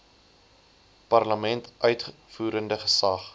parlement uitvoerende gesag